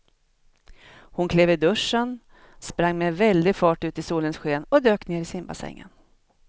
Hon klev ur duschen, sprang med väldig fart ut i solens sken och dök ner i simbassängen.